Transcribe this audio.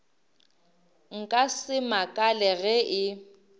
nka se makale ge e